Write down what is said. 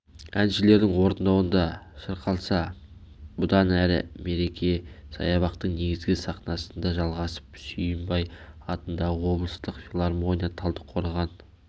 әншілерінің орындауында шырқалса бұдан әрі мереке саябақтың негізгі сахнасында жалғасып сүйінбай атындағы облыстық филармония талдықорған